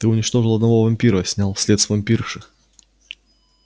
ты уничтожил одного вампира снял след с вампирши